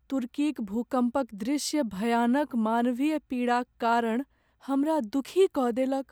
तुर्कीक भूकम्पक दृश्य भयानक मानवीय पीड़ाक कारण हमरा दुखी कऽ देलक।